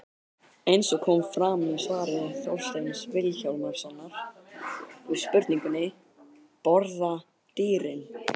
Eins og kom fram í svari Þorsteins Vilhjálmssonar við spurningunni: Borða dýrin?